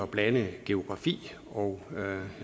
blande geografi og jeg